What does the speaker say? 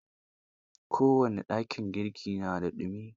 kowane dakin girki na da ɗumi.